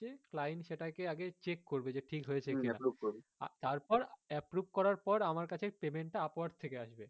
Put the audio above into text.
client সেটা কে আগে check করবে যে ঠিক হয়েছে কিনা তারপর approve করার পর আমার কাছে payment টা upwork থেকে আসবে